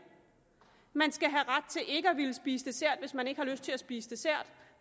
man skal have ret til ikke at ville spise dessert hvis man ikke har lyst til at spise dessert